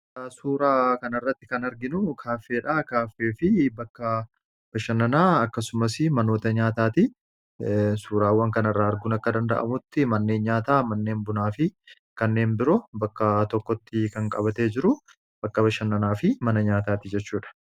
suuraa kana irratti kan arginu kaaffeedhaa kaaffee fi bakka bashannanaa akkasumas manoota nyaataati suuraawwan kana irraa arguun akka danda'amutti manneen nyaataa manneen bunaa fi kanneen biroo bakka tokkotti kan qabatee jiru bakka bashannanaa fi mana nyaataati jechuudha